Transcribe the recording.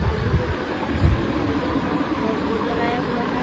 पानी बोटल है सैनिटाइजर है और बोर्ड लगाया हुआ है।